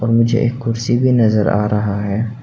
मुझे एक कुर्सी भी नजर आ रहा है।